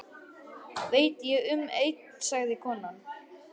Veit ég um einn, sagði konan.